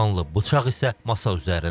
Qanlı bıçaq isə masa üzərində.